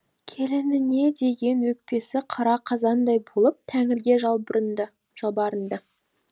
келініне деген өкпесі қара қазандай болып тәңірге жалбарынды